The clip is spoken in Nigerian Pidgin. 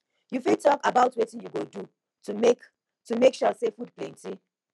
you fit talk about wetin you go do to make to make sure say food plenty